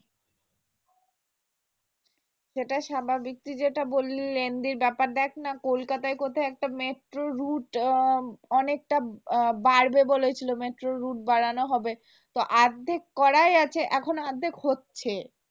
সেটা স্বাভাবিক তুই যেটা বললি lengthy বেপারটা দেখনা কলকাতায় তো একটা মেট্রো রুট অনেকটা বাড়বে বলেছিল মেট্রো রুট বাড়ানো হবে তো অর্ধেক করাই আছে এখনো অর্ধেক হচ্ছে